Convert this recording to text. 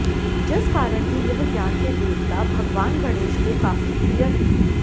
जिस कारण भी यह ज्ञान के देवता भगवान गणेश को काफी प्रिय हैं